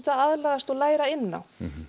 að aðlagast og læra inn á